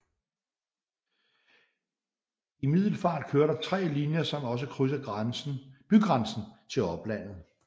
I Middelfart kører der 3 linjer som også krydser bygrænsen til oplandet